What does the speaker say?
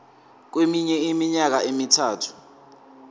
kweminye iminyaka emithathu